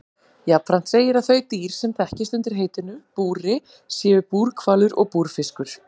Jafnframt segir að þau dýr sem þekkist undir heitinu búri séu búrhvalur og búrfiskur.